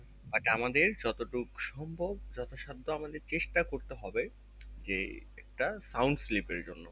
আর যা আমাদের যত টুকু সম্ভব যত সাধ্য আমাদের চেষ্টা করতে হবে যে একটা sound sleep এর জন্য